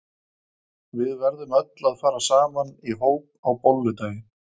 Við verðum öll að fara saman í hóp á bolludaginn.